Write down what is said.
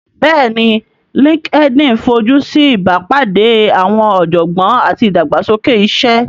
Bẹ́ẹ̀ni LinkedIn fojú sí ìbápàdé àwọn ọ̀jọ̀gbọ́n àti ìdàgbàsókè iṣẹ́